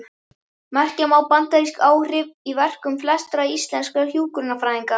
Merkja má bandarísk áhrif í verkum flestra íslenskra hjúkrunarfræðinga.